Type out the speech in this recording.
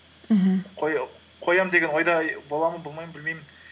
аха қоямын деген ойда боламын ба болмаймын ба білмеймін